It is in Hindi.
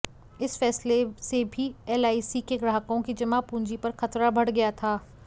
इस फैसले से भी एलआईसी के ग्राहकों की जमा पूंजी पर खतरा बढ़ गया था